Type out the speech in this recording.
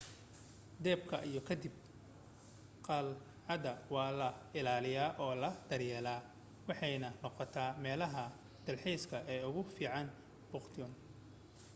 dabka ka dib qalcadda waa la ilaaliyay oo la daryeelay waxaanay noqotay meelaha dalxiiska ee ugu fiican bhutan